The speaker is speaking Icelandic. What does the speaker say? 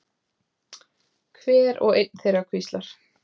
Hver og ein þeirra hvíslar.